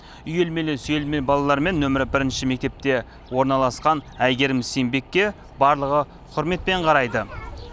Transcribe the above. үйелмелі сүйелме балалармен нөмір бірінші мектепте орналасқан әйгерім сембекке барлығы құрметпен қарайды